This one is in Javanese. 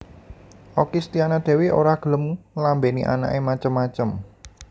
Okky Setiana Dewi ora gelem nglambeni anak e macem macem